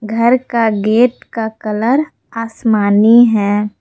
घर का गेट का कलर आसमानी है।